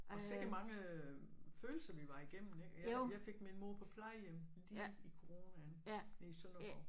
Og sikke mange følelser vi var igennem ikke jeg fik min mor på plejehjem lige i coronaen i Sønderborg